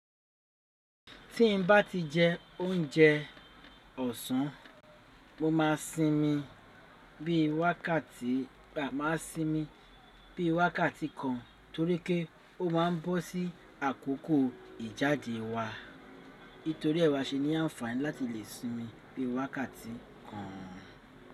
Tí n bá ti jẹ oúnjẹ ọ̀sán, mo máa sínmi bí i wákàtí kan torí pé ó máa ń bọ́ sí àkókò ìjáde wa. Nítorí ẹ́ wa ṣe ní àǹfààní láti lè sínmi bí i wákàtí kan.